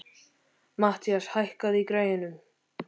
Mathías, hækkaðu í græjunum.